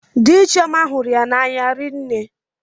Dị Chioma hụrụ ya n'anya rinne.